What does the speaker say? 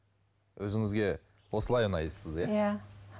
өзіңізге осылай ұнайсыз иә